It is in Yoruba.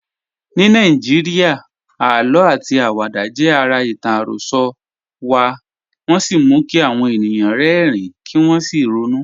Ní Nàìjíríà, àlọ́ àti àwàdà jẹ́ ara ìtàn àròsọ wa, wọ́n sì mú kí àwọn ènìyàn rẹ́rìn-ín kí wọ́n sì ronú.